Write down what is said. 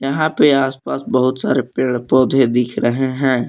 यहां पे आसपास बहुत सारे पेड़ पौधे दिख रहे हैं।